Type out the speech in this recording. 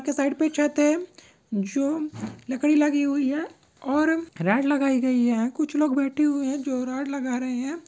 Side पे छत है जो लकड़ी लगी हुई है और रॉड लगाई गई है और कुछ लोग बैठे हुए है जो रॉड लगा रहे है।